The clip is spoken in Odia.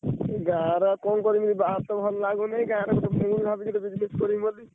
ଗାଁରେ ଆଉ କଣ କରିବି ବାହାରେତ ଭଲ ଲାଗୁନି ଗାଁ ରେ ଗୋଟେ ଭାବୁଛି business କରିମି ବୋଲି।